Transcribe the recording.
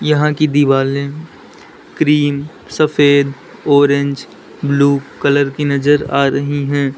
यहां की दिवालें क्रीम सफेद ऑरेंज ब्लू कलर की नजर आ रही हैं।